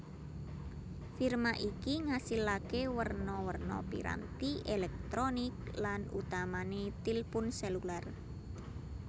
Firma iki ngasilaké werna werna piranti èlèktronik lan utamané tilpun sèlulêr